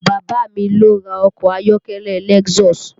Bàbá a mi ló ra ọkọ̀ ayọ́kẹ́lẹ́ Lexus